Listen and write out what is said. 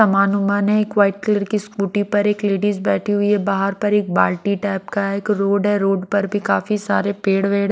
समानवमान है एक white colour की स्कूटी पर एक लेडीज बैठी हुई है बाहर पर एक बाल्टी टाइप का एक रोड है रोड पर भी काफी सारे पेड़ वेड़ --